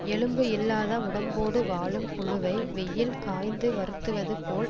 எலும்பு இல்லாத உடம்போடு வாழும் புழுவை வெயில் காய்ந்து வருத்துவது போல்